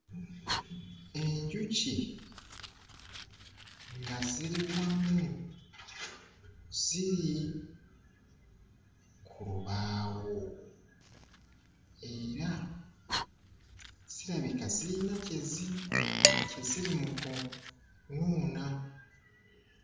Enjuki nga ziri wamu; ziri ku lubaawo era zirabika zirina kye zi kye ziri mu kunuuna.